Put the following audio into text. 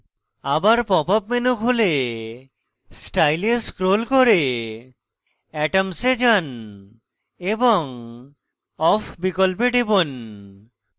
আবার pop up menu খুলে style এ scroll করে atoms এ যান এবং off বিকল্পে টিপুন